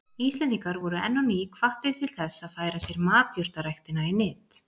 Íslendingar voru enn á ný hvattir til þess að færa sér matjurtaræktina í nyt.